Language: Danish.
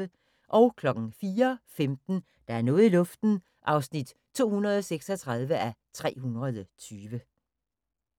04:15: Der er noget i luften (236:320)